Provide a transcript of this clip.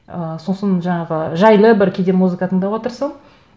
ы сосын жаңағы жайлы бір кейде музыка тыңдауға тырысамын